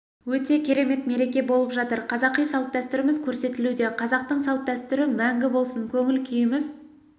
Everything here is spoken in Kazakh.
өте керемет мереке болып жатыр қазақи салт-дәстүріміз көрсетілуде қазақтың салт дәстүрі мәңгі болсын көңіл күйіміз